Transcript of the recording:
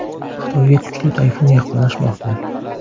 Xitoyga kuchli tayfun yaqinlashmoqda.